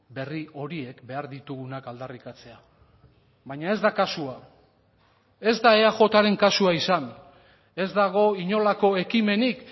berri horiek behar ditugunak aldarrikatzea baina ez da kasua ez da eajren kasua izan ez dago inolako ekimenik